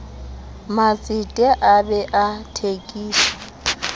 matsete a bee a thekiso